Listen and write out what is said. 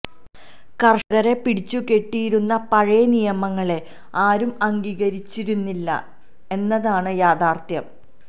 കര്ഷകരെ പിടിച്ചു കെട്ടിയിരുന്ന പഴയ നിയമങ്ങളെ ആരും അംഗീകരിച്ചിരുന്നില്ല എന്നതാണ് യാഥാര്ത്ഥ്യം